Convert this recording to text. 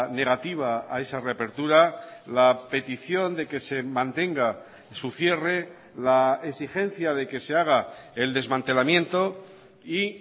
negativa a esa reapertura la petición de que se mantenga su cierre la exigencia de que se haga el desmantelamiento y